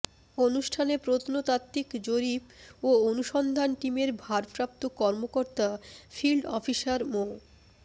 অনুষ্ঠানে প্রত্নতাত্ত্বিক জরিপ ও অনুসন্ধান টিমের ভারপ্রাপ্ত কর্মকর্তা ফিল্ড অফিসার মো